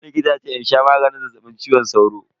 Likita yace in sha maganin zazzaɓin cizon sauro.